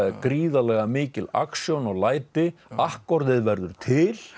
gríðarlega mikil aksjón og læti verður til